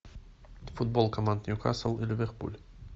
футбол команд ньюкасл и ливерпуль